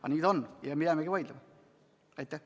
Aga nii ta on ja me võime jäädagi vaidlema.